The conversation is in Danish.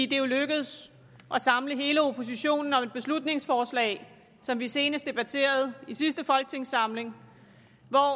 det er jo lykkedes at samle hele oppositionen om et beslutningsforslag som vi senest debatterede i sidste folketingssamling